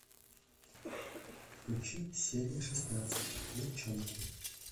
включи серия шестнадцать девчонки